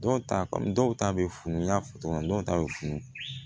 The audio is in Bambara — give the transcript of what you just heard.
Dɔw ta kɔmi dɔw ta be funu n y'a fɔ togo min na dɔw ta be funu